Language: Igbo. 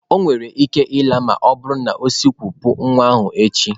O nwere ike ịla ma ọ bụrụ na o sikwopụ nwa ahụ echi.